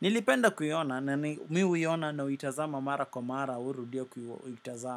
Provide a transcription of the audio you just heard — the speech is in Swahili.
Nilipenda kuiona, nani, mi huiona na uitazama mara kwa mara, urudia kuitazama.